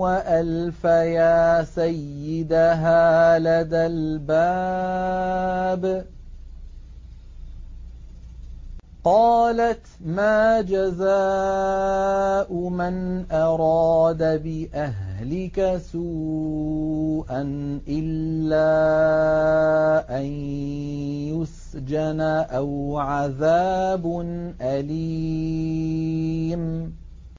وَأَلْفَيَا سَيِّدَهَا لَدَى الْبَابِ ۚ قَالَتْ مَا جَزَاءُ مَنْ أَرَادَ بِأَهْلِكَ سُوءًا إِلَّا أَن يُسْجَنَ أَوْ عَذَابٌ أَلِيمٌ